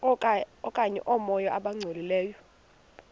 okanye oomoya abangcolileyo